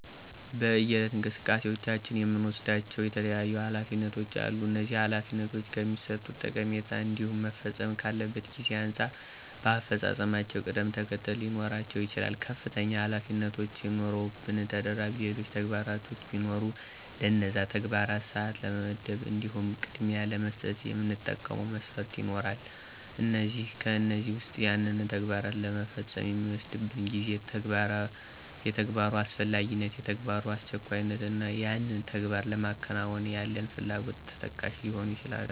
በየዕለት እንቅስቃሴዎቻችን የምንወስዳቸው የተለያዩ ኃላፊነቶች አሉ፤ እነዚህ ኃላፊነቶች ከሚሠጡት ጠቀሜታ እንዲሁም መፈጸም ካለበት ጊዜ አንጻር በአፈፃፀማቸው ቅደም ተከተለ ሊኖራቸው ይችላል። ከፍተኛ ኃላፊነቶች ኑረውብን ተደራቢ ሌሎች ተግባራቶች ቢኖሩ ለነዛ ተግባራት ሰዓት ለመመደብ እንዲሁም ቅድሚያ ለመስጠት የምንጠቀመው መስፈርት ይኖራል፤ ከእነዚህም ዉስጥ ያንን ተግባር ለመፈጸም የሚወስድብን ጊዜ፣ የተግባሩ አስፈላጊነት፣ የተግባሩ አስቸኳይነት እና ያንን ተግባር ለማከናወን ያለን ፍላጎት ተጠቃሽ ሊሆኑ ይችላሉ።